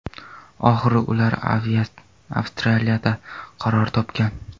Oxiri ular Avstraliyada qaror topgan.